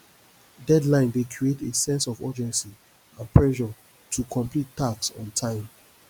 deadline dey create a sense of urgency and pressure to complete task on time